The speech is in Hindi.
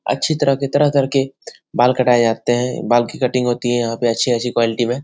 अच्छी तरह के तरह-तरह के बाल कटाए जाते है। बाल की कटिंग होती है यहाँ अच्छी-अच्छी क्वालिटी में।